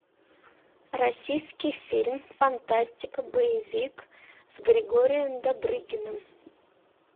российский фильм фантастика боевик с григорием добрыгиным